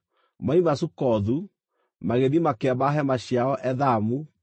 Moima Sukothu, magĩthiĩ makĩamba hema ciao Ethamu, ndeere-inĩ cia werũ.